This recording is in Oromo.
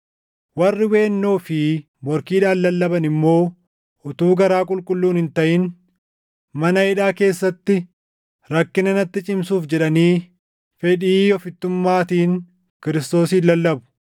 Warri weennoo fi morkiidhaan lallaban immoo utuu garaa qulqulluun hin taʼin, mana hidhaa keessatti rakkina natti cimsuuf jedhanii fedhii ofittummaatiin Kiristoosin lallabu.